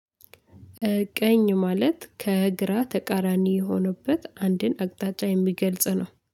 ቀኝ ማለት ከግራ ተቃራኒ የሆኑበት አንድን አቅጣጫ የሚገልጽ ነው